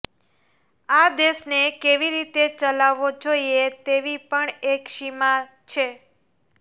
આ દેશને કેવી રીતે ચલાવવો જોઈએ તેવી પણ એક સીમા છે